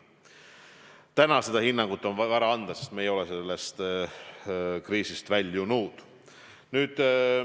Täna on seda hinnangut vara anda, sest me ei ole sellest kriisist väljunud.